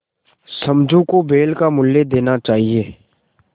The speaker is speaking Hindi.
समझू को बैल का मूल्य देना चाहिए